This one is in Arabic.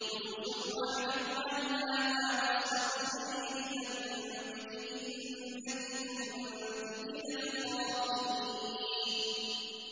يُوسُفُ أَعْرِضْ عَنْ هَٰذَا ۚ وَاسْتَغْفِرِي لِذَنبِكِ ۖ إِنَّكِ كُنتِ مِنَ الْخَاطِئِينَ